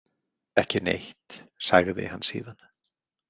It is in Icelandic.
Ekki neitt, sagði hann síðan.